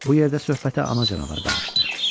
Bu yerdə söhbətə ana canavar qarışdı.